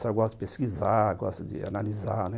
Só gosto de pesquisar, gosto de analisar.